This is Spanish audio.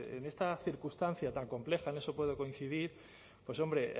en esta circunstancia tan compleja en eso puedo coincidir pues hombre